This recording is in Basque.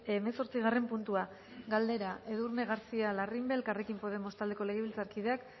hemezortzigarren puntua galdera edurne garcía larrimbe elkarrekin podemos taldeko legebiltzarkideak